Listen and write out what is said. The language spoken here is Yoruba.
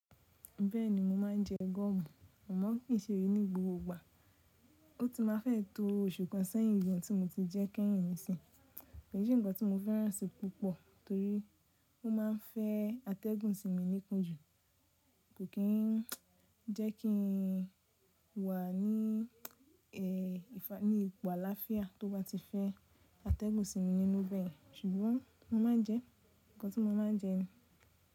Bẹ́ẹ̀ni mo máa ń jẹ gọ́ọ̀mù, àmọ́ kì í ṣe ní gbogbo ìgbà. Ó ti máa fẹ́ tó oṣù kan sẹ́yìn gàn tí mo ti jẹ kẹ́yìn ǹì sìn Kì í ṣe nǹkan tí mo fẹ́ràn si púpọ̀ torí ó ma ń fẹ́ atẹ́gùn sí mi ní ikun jù, kò kí ń jẹ́ kí n wà ní, ẹ́, ní ipò àlàáfíà tó bá ti fẹ́ atẹ́gùn sí mi nínú bẹ́ẹ̀. Ṣùgbọ́n mo máa ń jẹ ẹ, nǹkan tí mo máa ń jẹ ni.